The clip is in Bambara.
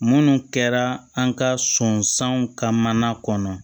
Munnu kɛra an ka sɔnsanw ka mana kɔnɔ